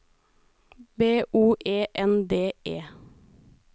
B O E N D E